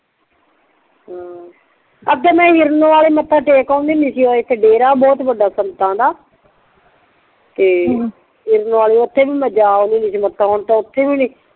ਹਮ ਅੱਗੇ ਮੈਂ ਨਿਰਨ ਵਾਲੇ ਹੀ ਮੱਥਾ ਟੇਕ ਓਨਦੀ ਹੁੰਦੀ ਸੀ ਓ ਇੱਕ ਦੇਰ ਬਹੁਤ ਵੱਡਾ ਸੰਤਾ ਦਾ ਤੇ ਓਥੇ ਵੀ ਮੈਂ ਜਾ ਓਨਦੀ ਹੁੰਦੀ ਸੀ